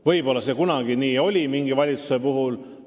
Võib-olla kunagi see oli nii, mõne teise valitsuse puhul.